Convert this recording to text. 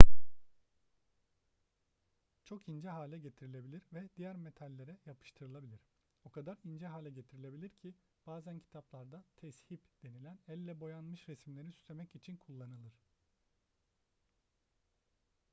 çok ince hale getirilebilir ve diğer metallere yapıştırılabilir o kadar ince hale getirilebilir ki bazen kitaplarda tezhip denilen elle boyanmış resimleri süslemek için kullanılır